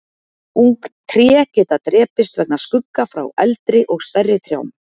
ung tré geta drepist vegna skugga frá eldri og stærri trjám